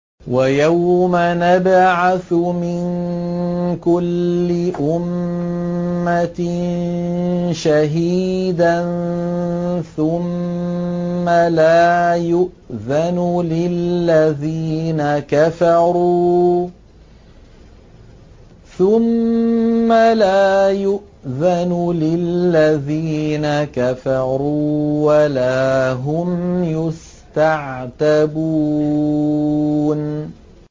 وَيَوْمَ نَبْعَثُ مِن كُلِّ أُمَّةٍ شَهِيدًا ثُمَّ لَا يُؤْذَنُ لِلَّذِينَ كَفَرُوا وَلَا هُمْ يُسْتَعْتَبُونَ